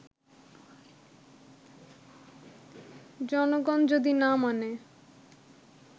জনগণ যদি না মানে